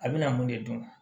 A bɛna mun de dun